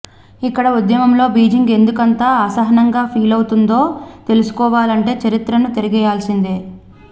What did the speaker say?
ఇక్కడ ఉద్యమంపై బీజింగ్ ఎందుకంత అసహనంగా ఫీలవుతోందో తెలుసుకోవాలంటే చరిత్రను తిరగేయాల్సిందే